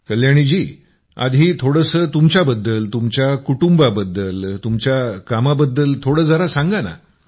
कल्याणीजी आधी थोडंसं तुमच्याबद्दल तुमच्या कुटुंबाबद्दल तुमच्या कामाबद्दल थोडं जरा सांगा ना